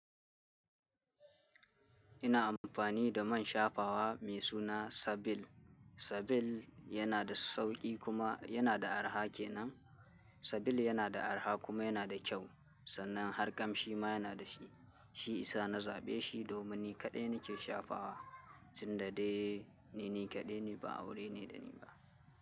Ina amfani da man shafawa mai suna Sabil. Sabil yana da sauƙi kuma yana da arha kenan. Sabil yana da arha kuma yana da kyau. Sannan har kamshi ma yana da shi. Shi isa na zaɓe shi domin ni kaɗai nake shafawa, tun da dai ni kaɗai ne ba aure ne da ni ba.